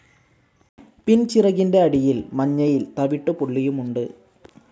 പിൻചിറകിൻ്റെ അടിയിൽ മഞ്ഞയിൽ തവിട്ടുപുള്ളിയുമുണ്ട്.